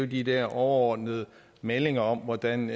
de der overordnede meldinger om hvordan